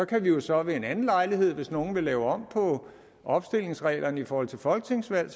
kan jo så ved en anden lejlighed hvis nogen vil lave om på opstillingsreglerne i forhold til folketingsvalg